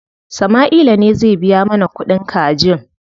Sama'ila ne zai biya mana kuɗin kajin.